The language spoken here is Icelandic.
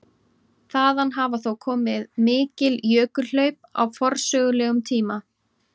Þaðan hafa þó komið mikil jökulhlaup á forsögulegum tíma.